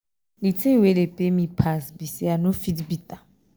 he talk say the only thing wey dey pain am be say he no marry.